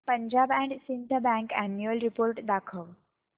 Punjab and Sind bank annual report दाखव